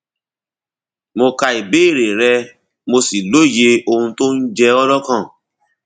mo ka ìbéèrè rẹ mo sì lóye ohun tó ń jẹ ọ lọkàn